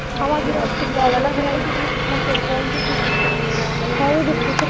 ಹೇಳ್ತಿದ್ರ ಅವ್ನೆಲ್ಲಾ ಕೇಳ್ಕೊಂತ ಕುಂದರ್ತಿದ್ವಿ ನಾವ್ .